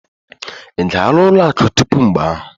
Ị gara ụlọ akụ tupu mgbe ahụ?